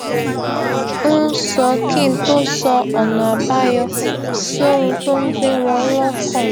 ń sọ kí n tó sọ ọnààbáyọ sí ohun tó ń gbé wón lókàn